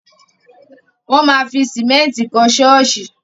Wọ́n ma fi sìmẹ́ntì kọ́ ṣọ́ọ̀ṣì.